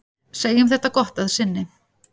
Segjum þetta gott að sinni.